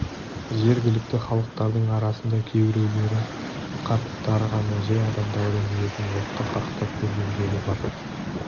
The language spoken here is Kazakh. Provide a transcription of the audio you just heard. жергілікті халықтардың арасында кейбіреулері қарттары ғана жай адамдардың етін отқа қақтап көргендері бар